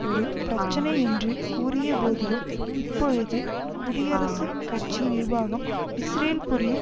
ஒரு பிரச்சனை என்று கூறியபோதிலும் இப்பொழுது குடியரசுக் கட்சி நிர்வாகம் இஸ்ரேல் புரியும்